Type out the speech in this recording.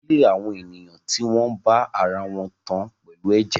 Ìdílé àwọn ènìyàn tí wọ́n bá ara wọn tán pẹ̀lú ẹ̀jẹ̀